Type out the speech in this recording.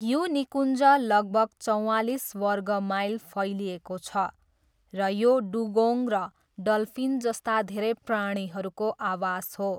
यो निकुञ्ज लगभग चौवालिस वर्ग माइल फैलिएको छ र यो डुगोङ र डल्फिन जस्ता धेरै प्राणीहरूको आवास हो।